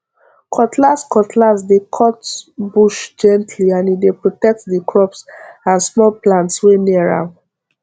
cutlass cutlass dey cut bush gently and e dey protect the crops and small plants wey near am